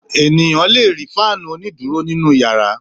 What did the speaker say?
Ènìyàn le fáánù onídùúró nínú ìyàrá.